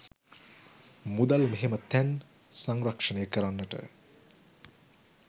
මුදල් මෙහෙම තැන් සංරක්ෂණය කරන්නට